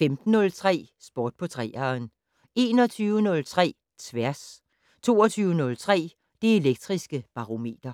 15:03: Sport på 3'eren 21:03: Tværs 22:03: Det Elektriske Barometer